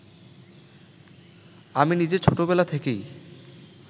আমি নিজে ছোট বেলা থেকেই